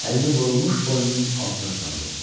Əlini burulmuş boynunun altına saldı.